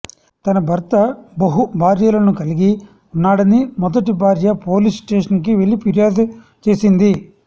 తనభర్త బహుభార్యలను కలిగి ఉన్నాడని మొదటి భార్య పోలీసు స్టేషన్కి వెళ్లి ఫిర్యాదు చేసింది